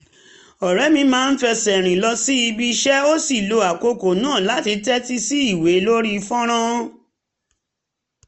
ọ̀rẹ́ mi máa ń fẹsẹ̀ rìn lọ síbi iṣẹ́ ó sì lo àkókò náà láti tẹ́tí sí ìwé lórí fọ́nrán